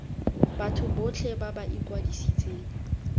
batho botlhe ba ba ikwadisitseng